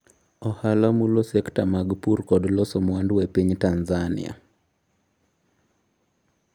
Ohala mulo sekta mag pur kod loso mwandu e piny Tanzania